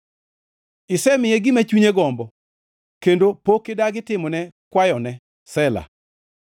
Isemiye gima chunye gombo kendo pok idagi timone kwayone. Sela